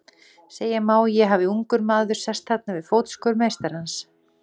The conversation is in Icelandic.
Segja má að ég hafi ungur maður sest þarna við fótskör meistarans.